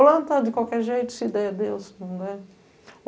Planta de qualquer jeito, se der, é Deus, se nao der...